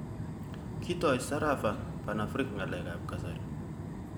Kitoi Sarova Panafric ngalek ab kasari.